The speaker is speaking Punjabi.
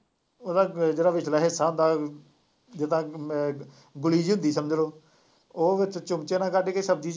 ਉਹਦਾ ਅਹ ਜਿਹੜਾ ਵਿਚਲਾ ਹਿੱਸਾ ਹੁੰਦਾ, ਜਿਦਾਂ ਮੈਂ ਗੁਲੀ ਜਿਹੀ ਹੁੰਦੀ ਸਮਝ ਲਉ, ਉਹ ਵਿੱਚ ਚਮਚੇ ਨਾਲ ਕੱਢ ਕੇ ਸ਼ਬਜ਼ੀ ਚ